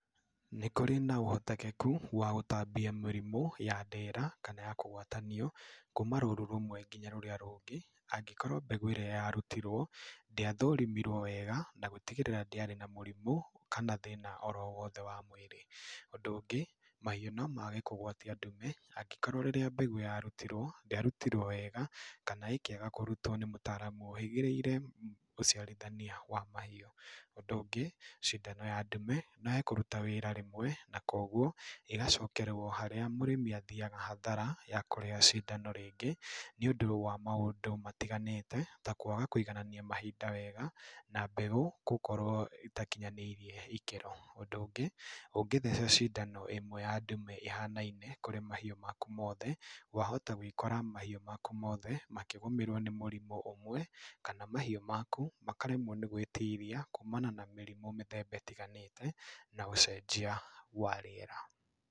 Nĩ kũrĩ na ũhotekeku wa gũtambia mĩrimũ ya ndera, kana ya kũgwatanio kuma rũũru rũmwe nginya rũrĩa rũngĩ, angĩkorwo mbegũ ĩrĩa yarutirwo ndĩathũrũmirwo wega na gũtigĩrĩra ndĩarĩ na mũrimũ kana thĩna oro wothe wa mwĩrĩ. Ũndũ ũngĩ, mahiũ no maage kũgwatia ndume angĩkorwo rĩrĩa mbegũ yarutirwo ndĩarutirwo wega, kana ĩkĩaga kũrutwo nĩ mũtaaramu ũhĩgĩrĩire ũciarithania wa mahiũ. Ũndũ ũngĩ, cindano ya ndume no yage kũruta wĩra rĩmwe na koguo ĩgacokerwo harĩa mũrĩmi athiaga hathara ya kũrĩha cindano rĩngĩ nĩ ũndũ wa maũndũ matiganĩte, ta kwaga kũiganania mahinda wega na mbegũ gũkorwo ĩtakinyanĩire ikĩro. Ũndũ ũngĩ, ũngĩtheca cindano ĩmwe ya ndume ĩhanaine kũrĩ mahiũ maku mothe, wahota gwĩkora mahiũ maku mothe makĩgũmĩrwo nĩ mũrimũ ũmwe, kana mahiũ maku makaremwo nĩ gwĩtiria kumana na mĩrimũ mĩthemba ĩtiganĩte kana ũcenjia wa rĩera.